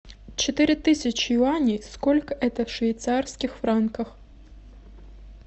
четыре тысячи юаней сколько это в швейцарских франках